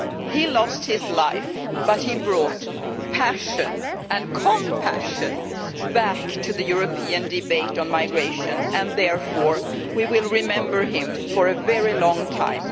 He lost his life but he brought passion and compassion back to the European debate on migration and therefore we will remember him for a very long time.